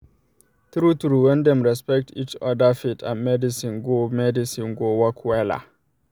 true true when dem respect each other faith and medicine go medicine go work wella